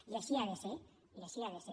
i així ha de ser i així ha de ser